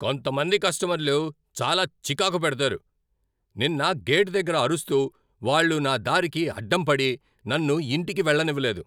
కొంతమంది కస్టమర్లు చాలా చికాకు పెడతారు. నిన్న గేటు దగ్గర అరుస్తూ, వాళ్ళు నా దారికి అడ్డంపడి, నన్ను ఇంటికి వెళ్ళనివ్వలేదు!